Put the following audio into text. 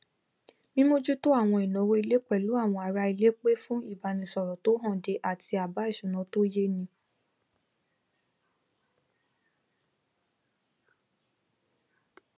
mímójútó àwọn ìnáwó ilé pẹlú àwọn aráilé pè fún ìbánisọrọ tó hànde àti àbá ìṣúná tó yéni